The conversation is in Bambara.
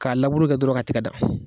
K'a labure kɛ dɔrɔn ka tiga dan